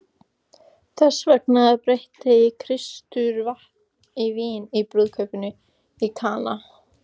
Þessvegna breytti Kristur vatni í vín í brúðkaupinu í Kana.